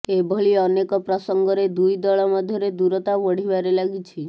ଏଭଳି ଅନେକ ପ୍ରସଙ୍ଗରେ ଦୁଇ ଦଳ ମଧ୍ୟରେ ଦୂରତା ବଢ଼ିବାରେ ଲାଗିଛି